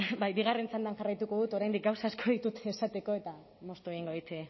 bai bigarren txandan jarraituko dut oraindik gauza asko ditut esateko eta moztu egingo dit